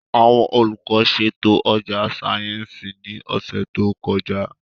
Àwọn olùkọ́ ṣètò ọjà sáyẹ́ǹsì ní ọ̀sẹ̀ tó kọjá